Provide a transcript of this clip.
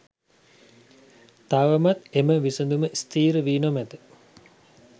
තවමත් එම විසඳුම ස්ථීර වී නොමැත.